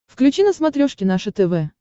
включи на смотрешке наше тв